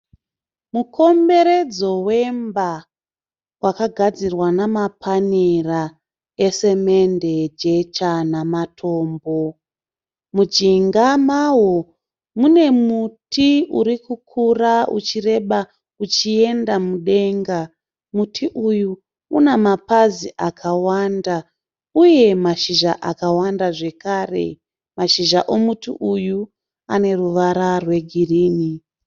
Mukomberedzo wemba wakagadzirwa namapanera esemende, jecha nematombo. Mujinga mawo mune muti uri kukura uchireba uchienda mudenga. Muti uyu une mapazi akawanda uye nemashizha akawanda zvakare. Mashizha aya ane ruvara rwegirinhi.